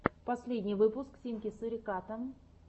последний выпуск тимки суриката